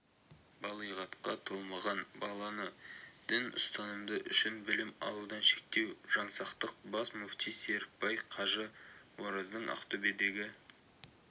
балиғатқа толмаған баланы діни ұстанымы үшін білім алудан шектеу жаңсақтық бас муфти серікбай қажы ораздың ақтөбедегі